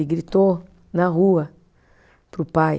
Ele gritou na rua para o pai.